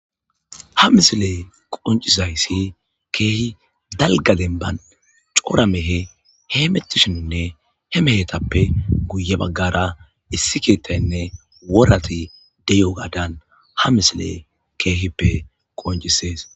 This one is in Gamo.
Ha misile qoncisayssi keehi dalgadenba coora mehe he mettishininne he mehetappe guye baggara issi keettaynne worati deyo gadan ha misile keehippe qoncisees.